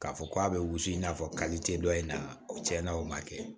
K'a fɔ k'a bɛ wusu i n'a fɔ kalite dɔ in na o tiɲɛna o ma kɛ